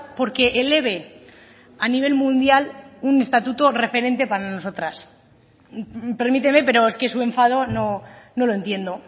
porque eleve a nivel mundial un estatuto referente para nosotras permíteme pero es que su enfado no lo entiendo